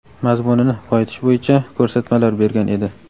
mazmunini boyitish bo‘yicha ko‘rsatmalar bergan edi.